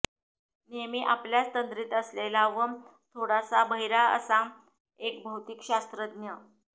नेहमी आपल्याच तंद्रीत असलेला व थोडासा बहिरा असा एक भौतिकशास्त्रज्ञ